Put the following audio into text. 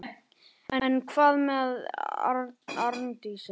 En hvað með Arndísi?